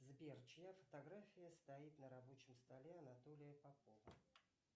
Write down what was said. сбер чья фотография стоит на рабочем столе анатолия попова